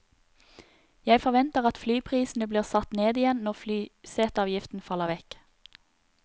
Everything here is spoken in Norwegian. Jeg forventer at flyprisene blir satt ned igjen når flyseteavgiften faller vekk.